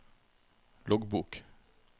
loggbok